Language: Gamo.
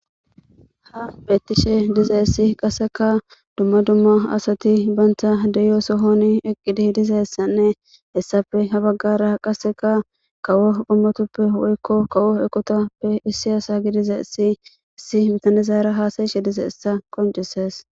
Ha beettishe dizeessi qasseka dumma dumma asati banta deyo sohon eqqidi dizeessanne hessafe ha baggara qaseka kawo ummotuppe woykko kawo ekotappe issi asa gi dize essiissi mitanezaara haasayishe dize essa koncisees